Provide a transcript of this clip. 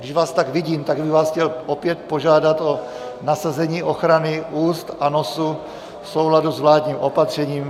Když vás tak vidím, tak bych vás chtěl opět požádat o nasazení ochrany úst a nosu v souladu s vládním opatřením...